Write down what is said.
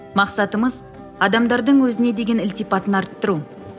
мақсатымыз адамдардың өзіне деген ілтипатын арттыру